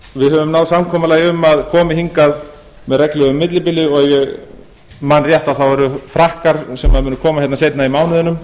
við höfum náð samkomulagi um að komi hingað með reglulegu millibili og ef ég man rétt eru það frakkar sem munu koma hérna seinna í mánuðinum